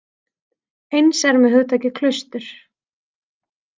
Eins er með hugtakið klaustur.